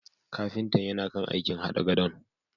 Kafintan yana kan aikin hada gadon.